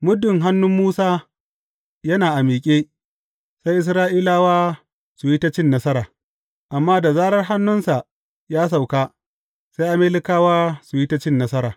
Muddin hannun Musa yana a miƙe, sai Isra’ilawa su yi ta cin nasara, amma da zarar hannunsa ya sauka, sai Amalekawa su yi ta cin nasara.